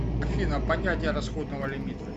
афина понятие расходного лимита